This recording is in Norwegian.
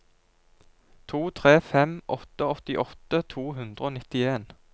to tre fem åtte åttiåtte to hundre og nittien